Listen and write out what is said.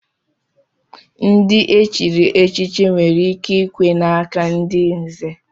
Ndị e chiri echichi nwere ike ikwe n'aka ndị nzè.